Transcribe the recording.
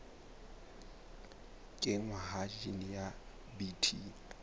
kenngwa ha jine ya bt